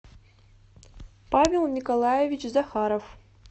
павел николаевич захаров